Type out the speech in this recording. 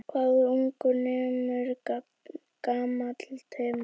Hvað ungur nemur gamall temur.